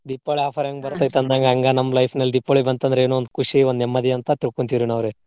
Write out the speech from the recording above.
Deepavali offer ಹೆಂಗ ಬರ್ತೆತಿ ಅಂದಂಗ ಹಂಗ ನಮ್ಮ life ನಲ್ಲಿ ದೀಪಾವಳಿ ಬಂತ್ ಅಂದ್ರ ಏನೋ ಒಂದ್ ಖುಷಿ, ಒಂದ್ ನೆಮ್ಮದಿ ಅಂತಾ ತಿಳ್ಕೊಂತಿವ್ರಿ ನಾವ್ರಿ.